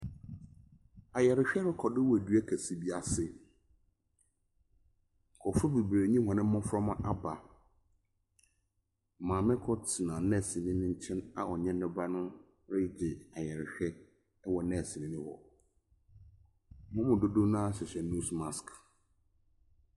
Ayarehwɛ rekɔ so wɔ dua kɛse bi ase. Nkurofoɔ bebree ne wɔn mmoframa aba. Maame koro tena nɛseni nkyɛn a ɔne ne ba no regye ayarehwɛ ɛwɔ nɛsenni no hɔ. Wɔn mu dodoɔ naa hyɛ nos maks.